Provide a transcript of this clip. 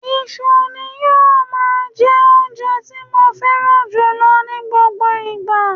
Iṣu ni yóò máa jẹ́ oúnjẹ tí mo fẹ́ran jùlọ ní gbogbo ìgbà